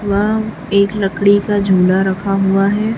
वा एक लकड़ी का झूला रखा हुआ है।